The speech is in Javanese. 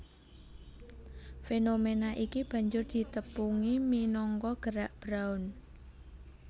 Fénoména iki banjur ditepungi minangka Gerak Brown